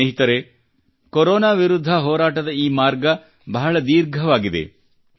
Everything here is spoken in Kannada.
ಸ್ನೇಹಿತರೇ ಕೊರೊನಾ ವಿರುದ್ಧ ಹೋರಾಟದ ಈ ಮಾರ್ಗ ಬಹಳ ದೀರ್ಘವಾಗಿದೆ